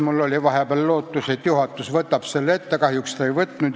Mul oli vahepeal lootus, et juhatus võtab selle ette, aga kahjuks ta ei võtnud.